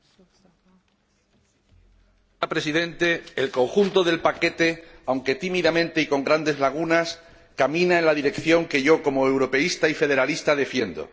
Señora Presidenta, el conjunto del paquete, aunque tímidamente y con grandes lagunas, camina en la dirección que yo, como europeísta y federalista, defiendo.